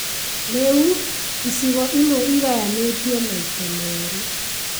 Rĩu, icigo imwe igayanĩtio maita merĩ